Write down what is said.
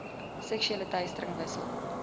seksuele teistering wissel